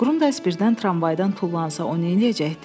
Qrundas birdən tramvaydan tullansa, o neyləyəcəkdi?